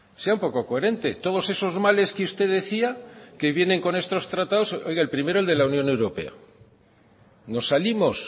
sea un poco coherente todos esos males que usted decía que vienen con estos tratados oiga el primero el de la unión europea nos salimos